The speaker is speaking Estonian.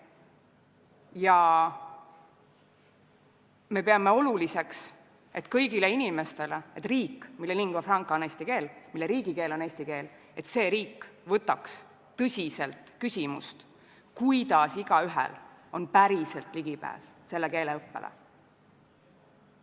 Ja me peame oluliseks, et see riik, mille lingua franca on eesti keel, mille riigikeel on eesti keel, võtaks tõsiselt küsimust, kuidas igaühel on päriselt ligipääs selle keele õppele.